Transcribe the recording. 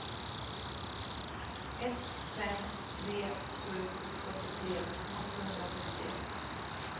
ett fem tre sju fyrtiotre åttahundrafemtioett